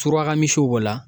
Suraka misiw b'o la.